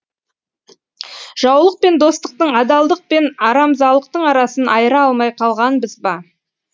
жаулық пен достықтың адалдық пен арамзалықтың арасын айыра алмай қалғанбыз ба